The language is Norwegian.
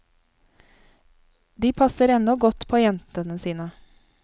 De passer ennå godt på jentene sine.